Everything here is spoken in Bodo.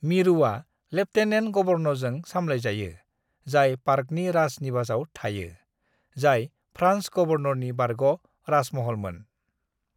"मिरुआ लेफ्टेनेन्ट गवर्नरजों सामलायजायो, जाय पार्कनि राज निवासआव थायो, जाय फ्रान्स गवर्नरनि बारग' राजमहलमोन।"